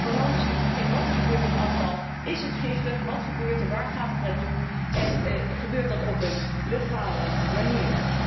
Transparantie over wat er gebeurt met afval is het giftig, wat gebeurt ermee, waar gaat het naartoe en gebeurt dat op een legale manier?